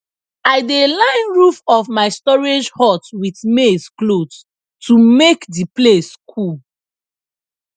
i dey line roof of my storage hut with maize cloth to make the place cool